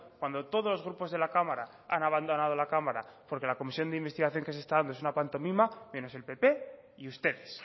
cuando todos los grupos de la cámara han abandonado la cámara porque la comisión de investigación que se está dando es una pantomima menos el pp y ustedes